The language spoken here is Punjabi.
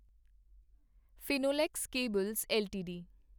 Finolex cables LTD